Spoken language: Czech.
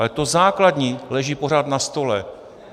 Ale to základní leží pořád na stole.